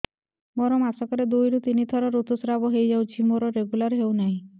ମୋର ମାସ କ ରେ ଦୁଇ ରୁ ତିନି ଥର ଋତୁଶ୍ରାବ ହେଇଯାଉଛି ମୋର ରେଗୁଲାର ହେଉନାହିଁ